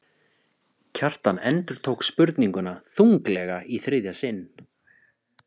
Kjartan endurtók spurninguna þunglega í þriðja sinn.